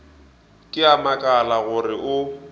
ke a makala gore o